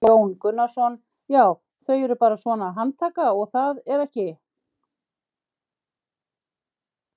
Jón Gunnarsson: Já þau eru bara svona, handtaka og það er ekki?